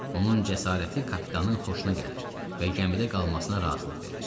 Onun cəsarəti kapitanın xoşuna gəlir və gəmidə qalmasına razılıq verir.